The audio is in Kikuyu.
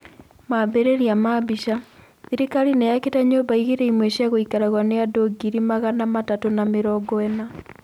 Mabĩrĩria ma mbica:Thirikari nĩ yakĩĩte nyũmba ngiri ĩmwe cia gũikaragĩrũo nĩ andũ ngiri magana matatũ na mĩrongo ĩna.